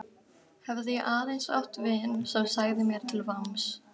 Hefði ég aðeins átt vin sem sagði mér til vamms.